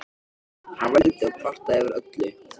Hann vældi og kvartaði yfir öllu.